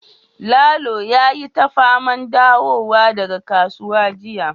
lalo yayi ta faman dawowa daga kasuwa jiya